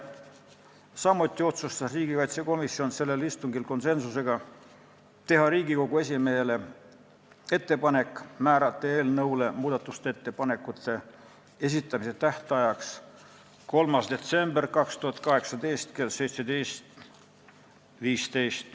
Samuti otsustas riigikaitsekomisjon sellel istungil konsensusega teha Riigikogu esimehele ettepaneku määrata eelnõu muudatusettepanekute esitamise tähtajaks 3. detsember 2018 kell 17.15.